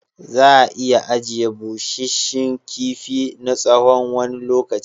Za'a iya ajiye bushe shin kifi na tsawon wani lokaci.